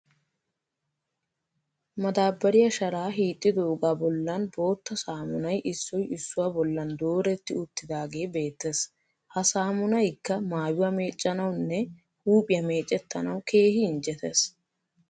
Madaabbariya sharaa hiixxidoogaa bollan bootta saamunay issoy issuwa bollan dooretti uttiidaagee beettes. Ha saamunayikka mayuwa meeccanawunne huuphiya meecettanawu keehi injjetees.